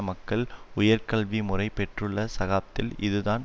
மக்கள் உயர்கல்வி முறை பெற்றுள்ள சகாப்த்தில் இதுதான்